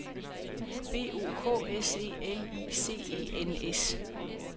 B O K S E L I C E N S